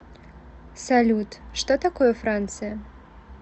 салют что такое франция